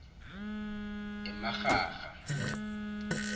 emarharha